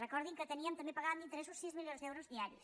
recordin que teníem també pagàvem interessos sis milions d’euros diaris